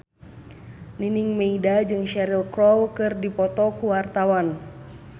Nining Meida jeung Cheryl Crow keur dipoto ku wartawan